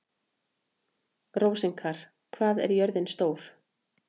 Rósinkar, hvað er jörðin stór?